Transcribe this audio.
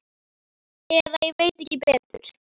Eða ég veit ekki betur.